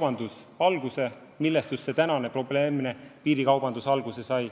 olnud –, kust praegune probleemne piirikaubandus alguse sai.